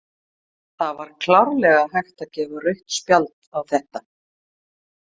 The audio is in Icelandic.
Það var klárlega hægt að gefa rautt spjald á þetta.